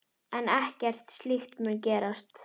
En ekkert slíkt mun gerast.